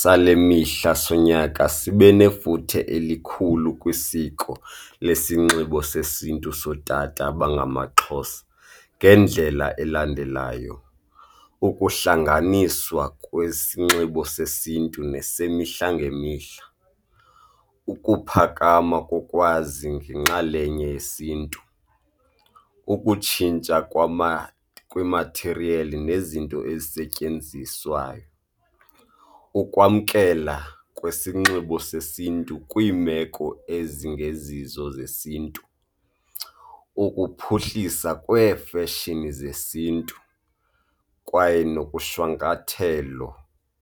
sale mihla sonyaka sibe nefuthe elikhulu kwisiko lesinxibo sesiNtu sootata abangamaXhosa ngendlela elandelayo, ukuhlanganiswa kwesinxibo sesiNtu nesemihla ngemihla. Ukuphakama kokwazi ngenxalenye yesiNtu. Ukutshintsha kwemathiriyeli nezinto ezisetyenziswayo. Ukwamkela kwesinxibo sesiNtu kwiimeko ezingezizo zesiNtu. Ukuphuhlisa kweefeshini zesiNtu kwaye nokushwankathelo.